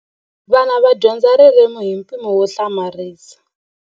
Vana va dyondza ririmi hi mpimo wo hlamarisa.